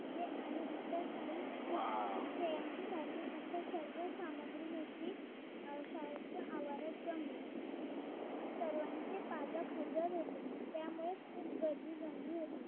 पत्ते आणि इतर काही खेळांची साधने अशा सर्व सामग्रीनेशी शाळेच्या आवारात जमलो सर्वांचे पालक हजर होते त्यामुळे खूप गर्दी झली होती